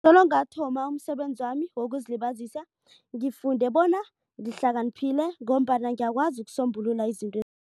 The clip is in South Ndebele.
Solo ngathoma umsebenzi wami wokuzilibazisa. Ngifunde bona ngihlakaniphile ngombana ngiyakwazi ukusombulula izinto